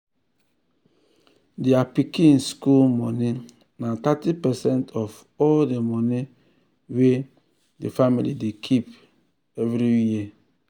thier pikin school money na thirty percent of all the money wey um the um family dey keep um every year.